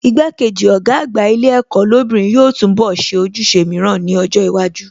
Igbá-kejì Ọ̀gá àgbà ilé ẹ̀kọ́ lóbìnrin yóò túnbọ̀ ṣe ojúṣe mìíràn ní ọjọ́ iwájú